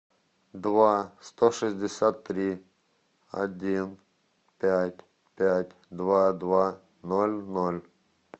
два сто шестьдесят три один пять пять два два ноль ноль